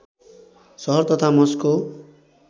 सहर तथा मस्को